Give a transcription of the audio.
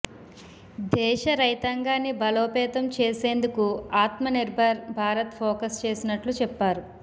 దేశ రైతాంగాన్ని బలోపేతం చేసేందుకు ఆత్మనిర్భర్ భారత్ ఫోకస్ చేసినట్లు చెప్పారు